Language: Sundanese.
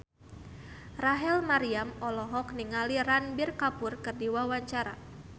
Rachel Maryam olohok ningali Ranbir Kapoor keur diwawancara